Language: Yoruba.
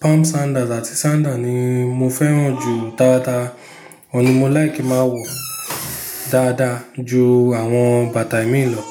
palm sandals àti sandal ni mo fẹ́ràn jù táa táa, òun ni mo like máa ń wọ dáadáa ju àwọn bàtà míì lọ.